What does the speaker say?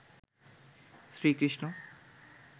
Shri Krishna